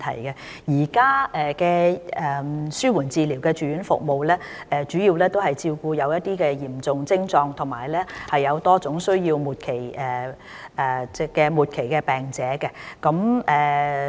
現有的紓緩治療住院服務，主要照顧有嚴重徵狀及多種需要的末期病者。